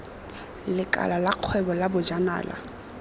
lekala la kgwebo la bojanala